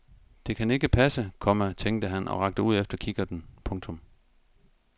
Det kan ikke passe, komma tænkte han og rakte ud efter kikkerten. punktum